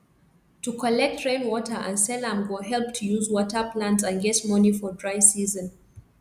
to collect rain water and sell am go help to use water plants and get money for dry season